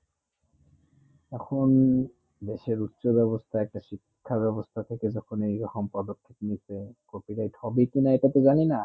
এখন দেশের উচ্ছ বেবস্তা একটা শিক্ষা বেবস্তা থেকে যেকোন এই রকম পদক্ষে নিতে copyright হবে কি না এইটা তো জানি না